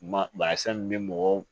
Maasa min bɛ mɔgɔw